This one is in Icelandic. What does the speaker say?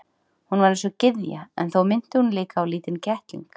Hún var eins og gyðja en þó minnti hún líka á lítinn kettling.